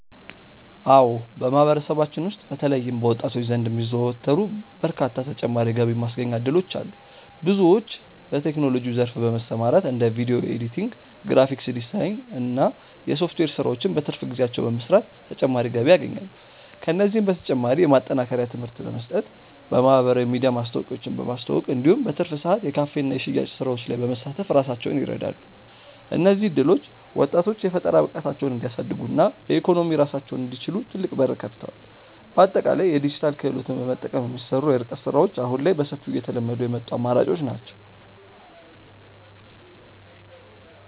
አዎ በማህበረሰባችን ውስጥ በተለይም በወጣቶች ዘንድ የሚዘወተሩ በርካታ ተጨማሪ የገቢ ማስገኛ እድሎች አሉ። ብዙዎች በቴክኖሎጂው ዘርፍ በመሰማራት እንደ ቪዲዮ ኤዲቲንግ፣ ግራፊክስ ዲዛይን እና የሶፍትዌር ስራዎችን በትርፍ ጊዜያቸው በመስራት ተጨማሪ ገቢ ያገኛሉ። ከእነዚህም በተጨማሪ የማጠናከሪያ ትምህርት በመስጠት፣ በማህበራዊ ሚዲያ ማስታወቂያዎችን በማስተዋወቅ እንዲሁም በትርፍ ሰዓት የካፌና የሽያጭ ስራዎች ላይ በመሳተፍ ራሳቸውን ይረዳሉ። እነዚህ እድሎች ወጣቶች የፈጠራ ብቃታቸውን እንዲያሳድጉና በኢኮኖሚ ራሳቸውን እንዲችሉ ትልቅ በር ከፍተዋል። በአጠቃላይ የዲጂታል ክህሎትን በመጠቀም የሚሰሩ የርቀት ስራዎች አሁን ላይ በሰፊው እየተለመዱ የመጡ አማራጮች ናቸው።